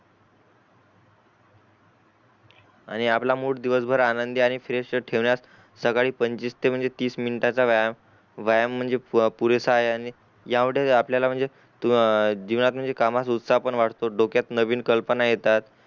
आणि आपला मूड दिवसभर आनंदी आणि फ्रेश ठेवण्यात सकाळी पंचवीस ते तीस मिनटाचा व्यायाम व्यायाम म्हणजे पुरेसा आहे आणि ह्या मुढे आपल्याला म्हणजे जीवनात म्हणजे कामात उत्साह पण वाढतो डोक्यात नवीन कल्पना पण येतात